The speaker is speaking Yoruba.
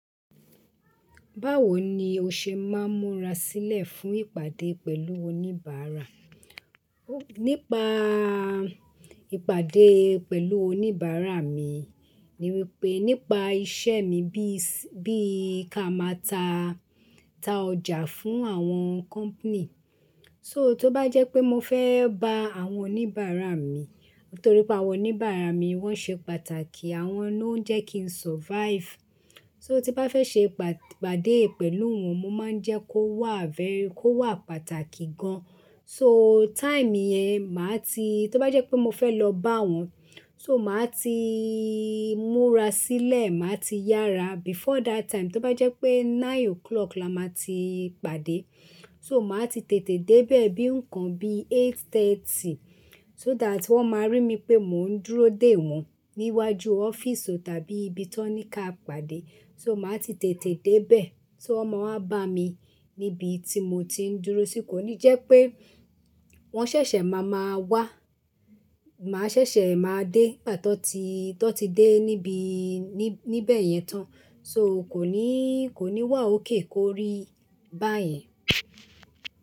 Báwo ni o ṣe máa ń múra sílẹ̀ fún ìpàdé pẹ̀lú oníbàárà? Nípa ìpàdé pẹ̀lú oníbàárà mi ni wípé nípa iṣẹ́ mi bí i ká máa ta ọjà fún àwọn company. So tó bá jẹ́ pé mo fẹ́ bá àwọn oníbàárà mi, nítorí pé àwọn oníbàárà mi wọ́n ṣe pàtàkì, àwọn ló ń jẹ́ kí n survive. So tí bá fẹ́ ṣe ìpàdé pẹ̀lú wọn mo máa ń jẹ́ kó wà fẹ́, kó wà pàtàkì gan. So time yẹn máa ti, tó bá jẹ́ pé mo fẹ́ lọ bá wọn, so màá ti múra sílẹ̀, màá ti yára. Before that time tó bá jẹ́ pé nine o'clock la máa ti pàdé, so màá ti tètè dé bẹ̀ bí nǹkan bí eight thirty so that wọ́n máa rí mi pé mò ń dúró dè wọ́n ní iwájú ọ́fíìsì tàbí ibi tí wọ́n ní ká pàdé. So màá ti tètè dé bẹ̀, so wọ́n máa wá bá mi níbi tí mo ti ń dúró sí. Kò ní jẹ́ pé wọ́n ṣẹ̀ṣẹ̀ máa máa wá, màá ṣẹ̀ṣẹ̀ máa dé nígbà tó ti dé níbí níbẹ̀ yẹn tán. So kò ní wà ókay kórí báyẹn.